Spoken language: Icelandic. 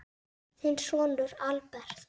Þinn sonur, Albert.